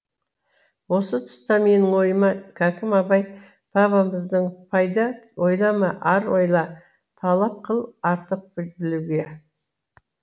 осы тұста менің ойыма хәкім абай бабамыздың пайда ойлама ар ойла талап қыл артық білуге